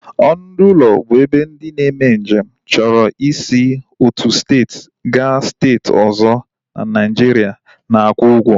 Ọnụ ndị ụlọ bụ ebe ndị na-eme nje m chọrọ i si otu steeti ga steeti ọzọ n'Naijiria na-akwụ ugwo